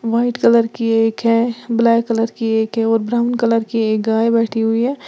White colour की एक है ब्लैक कलर की एक है और ब्राउन कलर की एक गाय बैठी हुई है।